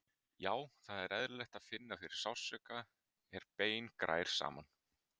Já, það er eðlilegt að finna fyrir sársauka er bein grær saman.